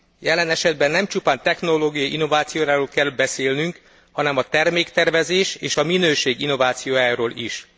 Jelen esetben nem csupán technológiai innovációról kell beszélnünk, hanem a terméktervezés és a minőség innovációjáról is.